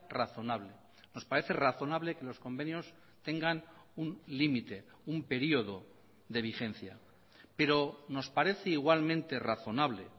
razonable nos parece razonable que los convenios tengan un límite un período de vigencia pero nos parece igualmente razonable